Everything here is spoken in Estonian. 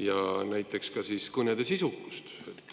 ja näiteks ka kõnede sisukust.